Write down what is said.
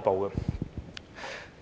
代理